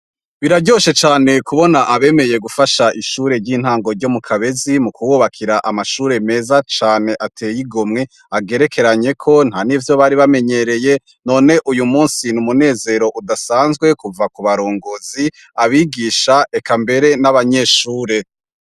Biraryoshe cane kubona Abemeye gufasha ishure ry'intango ryo Mukabezi, mukububakira amashure meza cane ateye igomwe, agerekeranyeko ntanivyo Bari bamenyereye, none uyumusi n'umunezero udasanzwe kuva kubarongozi, abigisha eka mbere n'abanyeshure.